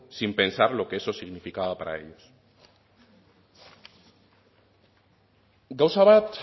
sin pensar lo que eso significaba para ellos gauza bat